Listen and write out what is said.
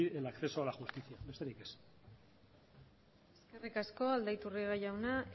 impedir el acceso a la justicia besterik ez eskerrik asko aldaiturriaga jaunak